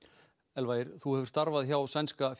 Elfa Ýr þú hefur starfað hjá sænska